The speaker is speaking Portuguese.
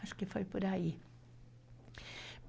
Acho que foi por aí.